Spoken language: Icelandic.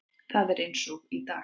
Það er eins og í dag.